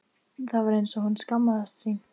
Það var eins og hún skammaðist sín.